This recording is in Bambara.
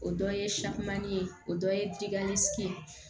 O dɔ ye ye o dɔ ye